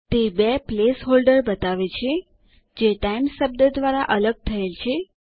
તે બે placeholder બતાવે છે જે ટાઇમ્સ શબ્દ દ્વારા અલગ થયેલ છે